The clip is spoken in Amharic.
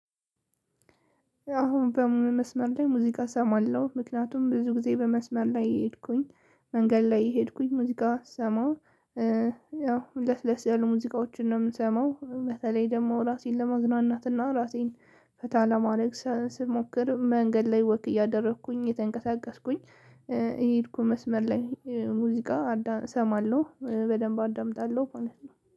አሁን በምን መስመር ላይ ሙዚቃ እሰማለሁ ምክንያቱም ብዙ ጊዜ በመስመር ላይ የሄድኩኝ መንገድ ላይ የሄድኩኝ ሙዚቃ ስሰማ ያው ለስለስ ያሉ ሙዚቃዎችን ነው የምሰማው። በተለይ ደግሞ ራሴን ለመዝናናትና ራሴን ፈታ ለማድረግ ስሞክር መንገድ ላይ ወክ እያደረኩኝ የተንቀሳቀስኩኝ እየሄድኩ መስመር ላይ ሙዚቃ እሰማለሁ በደንብ አዳምጣለሁ ማለት ነው